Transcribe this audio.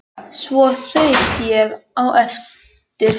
Svo þaut ég á eftir Herði.